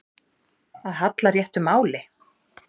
Að halla réttu máli